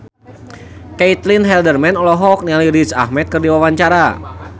Caitlin Halderman olohok ningali Riz Ahmed keur diwawancara